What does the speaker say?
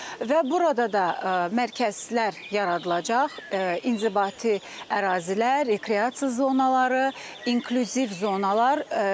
Və burada da mərkəzlər yaradılacaq: inzibati ərazilər, rekreasiya zonaları, inklüziv zonalar.